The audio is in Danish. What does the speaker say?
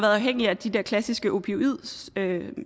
afhængige af de der klassiske opioidstoffer